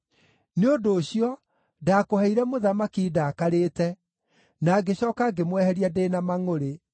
Nĩ ũndũ ũcio, ndaakũheire mũthamaki ndakarĩte, na ngĩcooka ngĩmweheria ndĩ na mangʼũrĩ.